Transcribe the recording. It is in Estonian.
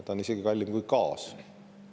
See on isegi kallim kui gaas.